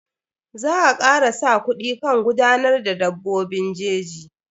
Za a kara sa kuɗi kan gudanar da dabbobin jeji.